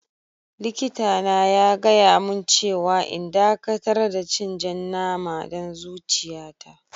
Likita na ya gaya mun cewa n'dakatar da cin jan nama dan zuciya ta.